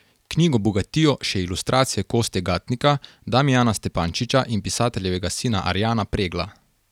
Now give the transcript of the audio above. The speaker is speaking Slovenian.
Knjigo bogatijo še ilustracije Kostje Gatnika, Damijana Stepančiča in pisateljevega sina Arjana Pregla.